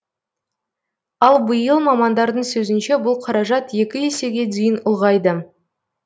ал биыл мамандардың сөзінше бұл қаражат екі есеге дейін ұлғайды